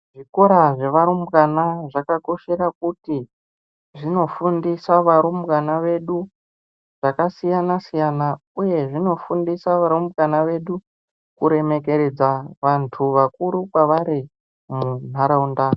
Zvikora zvevarumbwana zvakakoshera kuti zvinofundisa varumbwana vedu zvakasiyana siyana uye zvinofundisa varumbwana vedu kuremekedza vantu vakuru kwavari munharaunda.